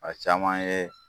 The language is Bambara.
A caman ye